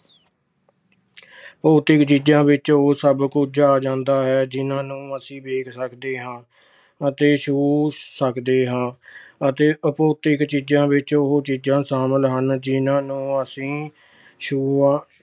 ਭੌਤਿਕ ਚੀਜਾਂ ਵਿੱਚ ਉਹ ਸਭ ਕੁਝ ਆ ਜਾਂਦਾ ਹੈ, ਜਿਹਨਾਂ ਨੂੰ ਅਸੀਂ ਵੇਖ ਸਕਦੇ ਹਾਂ ਅਤੇ ਛੂ ਸਕਦੇ ਹਾਂ ਅਤੇ ਅਭੌਤਿਕ ਚੀਜਾਂ ਵਿੱਚ ਉਹ ਚੀਜਾਂ ਸ਼ਾਮਲ ਹਨ ਜਿਹਨਾਂ ਨੂੰ ਅਸੀਂ ਛੂ ਅਹ